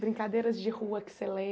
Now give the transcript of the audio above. Brincadeiras de rua que você